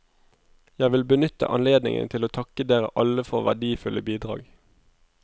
Jeg vil benytte anledningen til å takke dere alle for verdifulle bidrag.